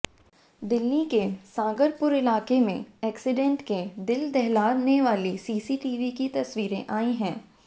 दिल्ली के सागरपुर इलाके से एक्सिडेंट के दिल दहलाने वाली सीसीटीवी की तस्वीरें आई हैं